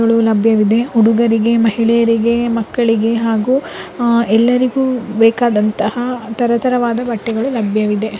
ಇಲ್ಲಿ ಲಭ್ಯವಿದೆ ಹುಡುಗರಿಗೆ ಮಹಿಳೆಯರಿಗೆ ಮಕ್ಕಳಿಗೆ ಹಾಗೂ ಎಲ್ಲರಿಗೂ ಬೇಕಾದಂತಹ ತರ ತರವಾದ ಬಟ್ಟೆಗಳು ಲಭ್ಯವಿದೆ .